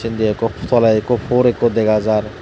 undi ekko toley ekko for ekko dega jar.